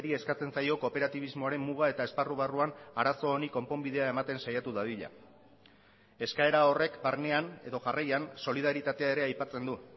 eskatzen zaio kooperatibismoaren muga eta esparru barruan arazo honi konponbidea ematen saiatu dadila eskaera horrek barnean edo jarraian solidaritatea ere aipatzen du